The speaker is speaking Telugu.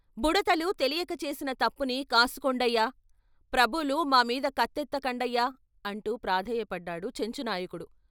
బుడతలు తెలియక చేసిన తప్పుని కాసుకోండయ్యా. ప్రభువులు మా మీద కత్తెత్త కండయ్యా " అంటూ ప్రాధేయపడ్డాడు చెంచు నాయకుడు.